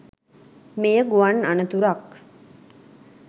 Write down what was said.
මෙය ගුවන් අනතුරක්